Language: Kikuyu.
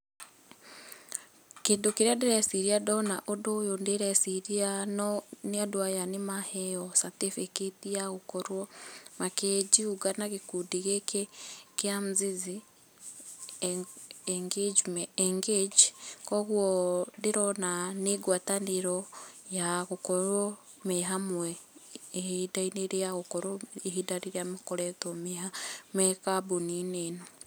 Kĩndũ kĩrĩa ndĩreciria ndona ũndũ ũyũ ndĩreciria no nĩ andũ aya, nĩmaheo certifĩcate ya gũkorwo makĩ jiunga na gĩkundĩ gĩkĩ kĩa Mzizi Engage, koguo ndĩrona nĩ ngwatanĩro ya gũkorwo me hamwe ihinda-inĩ rĩao rĩa gũkorwo ihinda rĩrĩa makoretwo me kambuni-inĩ ĩno.